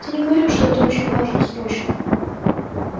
ты не говорил что это очень важно срочно